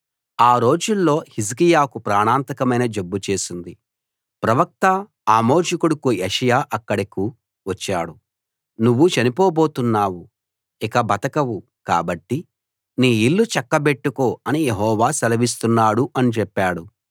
ఆ రోజుల్లో హిజ్కియాకు ప్రాణాంతకమైన జబ్బు చేసింది ప్రవక్త ఆమోజు కొడుకు యెషయా అక్కడకు వచ్చాడు నువ్వు చనిపోబోతున్నావు ఇక బతకవు కాబట్టి నీ ఇల్లు చక్కబెట్టుకో అని యెహోవా సెలవిస్తున్నాడు అని చెప్పాడు